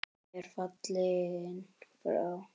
Góð vinkona er fallin frá.